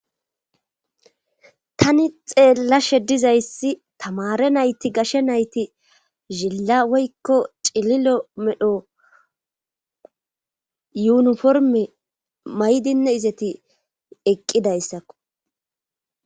Tani xeellashe dizayssi tamare nayti gashe nayti zilla woykko cililo medho yuuniforme maydinne izeti eqqidayssakko.